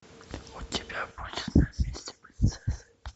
у тебя будет на месте принцессы